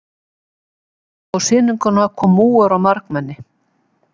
Á sýninguna kom múgur og margmenni.